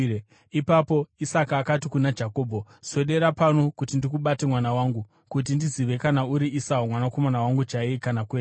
Ipapo Isaka akati kuna Jakobho, “Swedera pedyo kuti ndikubate, mwana wangu, kuti ndizive kana uri Esau mwanakomana wangu chaiye kana kwete.”